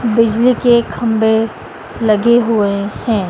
बिजली के खंभे लगे हुए हैं।